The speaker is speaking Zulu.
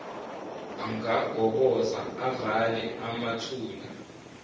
angagobhoza avale amathuna